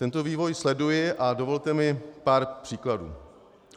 Tento vývoj sleduji a dovolte mi pár příkladů.